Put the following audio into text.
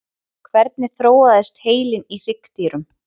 hvernig þróaðist heilinn í hryggdýrum